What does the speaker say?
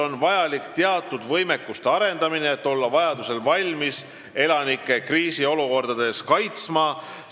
On vajalik teatud võimekuste arendamine, et olla valmis elanikke kriisiolukordades kaitsma.